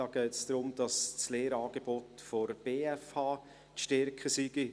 Hier geht es darum, dass das Lehrangebot der BFH zu stärken sei.